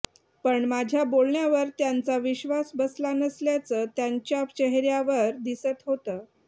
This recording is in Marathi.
पण माझ्या बोलण्यावर त्यांचा विश्वास बसला नसल्याचं त्यांच्या चेहर्या वर दिसत होतं